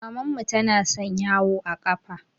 Mamman mu tana son yawo a ƙafa